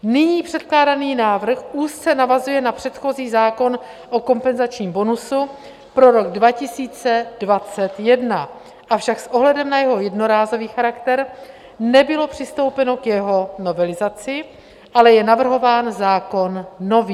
Nyní předkládaný návrh úzce navazuje na předchozí zákon o kompenzačním bonusu pro rok 2021, avšak s ohledem na jeho jednorázový charakter nebylo přistoupeno k jeho novelizaci, ale je navrhován zákon nový.